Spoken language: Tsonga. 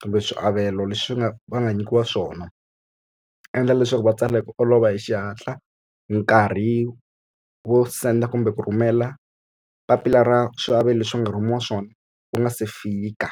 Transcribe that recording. kumbe swiavelo leswi nga va nga nyikiwa swona endla leswaku va tsala hi ku olova hi xihatla nkarhi wo send-a kumbe ku rhumela papila ra swiavelo leswi va nga rhumiwa swona wu nga se fika.